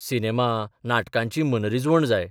Cinema, नाटकांची मनरिजवण जाय.